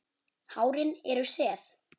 Hárin eru sef.